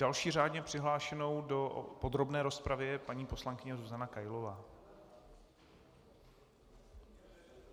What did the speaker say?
Další řádně přihlášenou do podrobné rozpravy je paní poslankyně Zuzana Kailová.